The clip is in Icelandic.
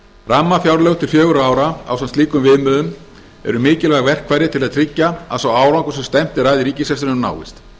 rammafjárlög til fjögurra ára ásamt slíkum viðmiðum eru mikilvæg verkfæri til að tryggja að sá árangur sem stefnt er að í ríkisrekstrinum náist